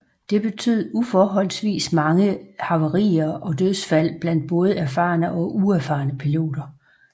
Det betød uforholdsvis mange havarier og dødsfald blandt både erfarne og uerfarne piloter